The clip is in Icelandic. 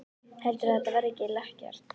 Heldurðu að þetta verði ekki lekkert?